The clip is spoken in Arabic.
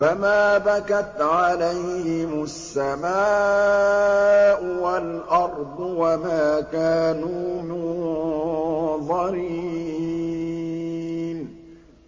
فَمَا بَكَتْ عَلَيْهِمُ السَّمَاءُ وَالْأَرْضُ وَمَا كَانُوا مُنظَرِينَ